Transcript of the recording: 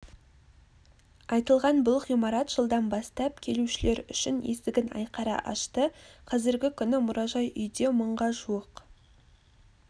айтылған бұл ғимарат жылдан бастап келушілер үшін есігін айқара ашты қазіргі күні мұражай-үйде мыңға жуық